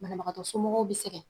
Banabagatɔ somɔgɔw be segɛn